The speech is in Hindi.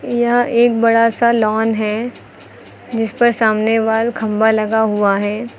यहां एक बड़ा सा लॉन है जिस पर सामने वाल खंभा लगा हुआ है।